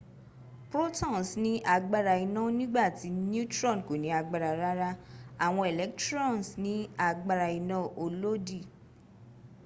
protons ní agbára iná nígbàtí neutron kò ní agbára rárá awon electrons ni aagbara ina olodi